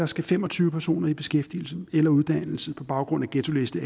skal fem og tyve personer i beskæftigelse eller uddannelse på baggrund af ghettoliste